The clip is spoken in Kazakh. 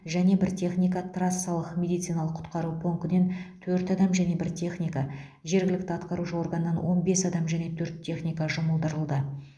және бір техника трассалық медициналық құтқару пунктінен төрт адам және бір техника жергілікті атқарушы органнан он бес адам және төрт техника жұмылдырылды